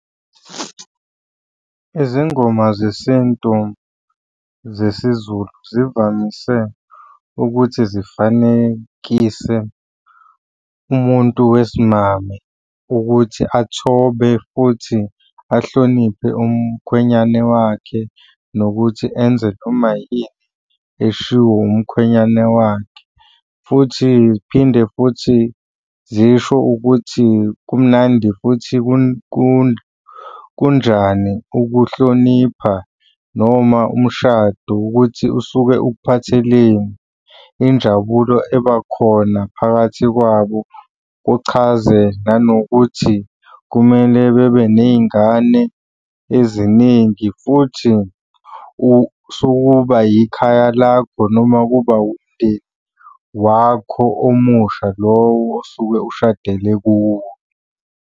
Izingoma zesintu zesiZulu zivamise ukuthi zifanekise umuntu wesimame ukuthi athobe futhi ahloniphe umkhwenyane wakhe nokuthi enze noma yini eshiwo umkhwenyane wakhe, futhi y'phinde futhi zisho ukuthi kumnandi futhi kunjani ukuhlonipha noma umshado ukuthi usuke ukuphatheleni. Injabulo ebakhona phakathi kwabo, kuchaze nanokuthi kumele bebe ney'ngane eziningi futhi sukuba ikhaya lakho, noma kuba umndeni wakho omusha lowo osuke ushadele kuwo.